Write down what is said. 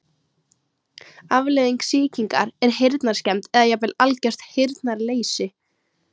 Afleiðing sýkingar er heyrnarskemmd eða jafnvel algert heyrnarleysi.